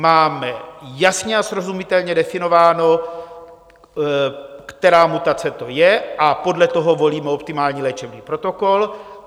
Máme jasně a srozumitelně definováno, která mutace to je, a podle toho volíme optimální léčebný protokol.